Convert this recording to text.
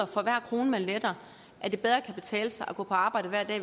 for hver krone man letter kan det bedre betale sig at gå på arbejde hver dag